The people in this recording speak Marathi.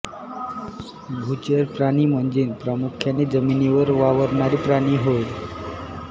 भूचर प्राणी म्हणजे प्रामुख्याने जमिनीवर वावरणारे प्राणी होय